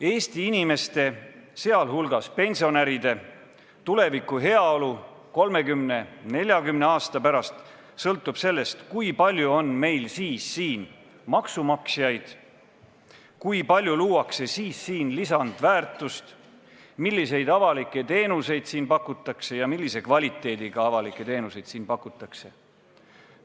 Eesti inimeste, sh pensionäride tulevane heaolu 30–40 aasta pärast sõltub sellest, kui palju on meil siis siin maksumaksjaid, kui palju luuakse siis siin lisandväärtust ning milliseid avalikke teenuseid siin pakutakse ja millise kvaliteediga neid teenuseid siin pakutakse.